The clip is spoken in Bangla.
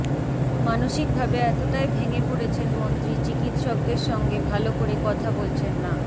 মানসিক ভাবে এতটাই ভেঙে পরেছেন মন্ত্রী চিকিৎসকদের সঙ্গে ভাল করে কথা বলছেন না